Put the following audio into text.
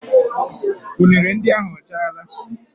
Unere ndị ahụ ọ chaala?